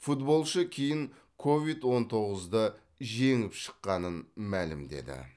футболшы кейін ковид он тоғызды жеңіп шыққанын мәлімдеді